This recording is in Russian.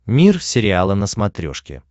мир сериала на смотрешке